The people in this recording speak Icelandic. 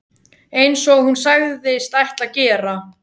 Eins og hún sagðist ætla að gera.